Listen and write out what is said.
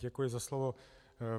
Děkuji za slovo.